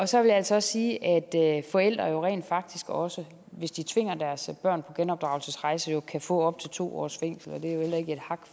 så vil jeg altså sige at forældre jo rent faktisk også hvis de tvinger deres børn på genopdragelsesrejse kan få op til to års fængsel